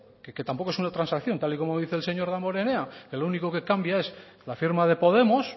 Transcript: que tampoco es una transacción tal y como dice el señor damborenea que lo único que cambia es la firma de podemos